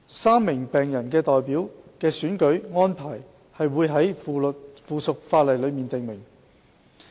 三名病人代表的選舉安排會在附屬法例中訂明。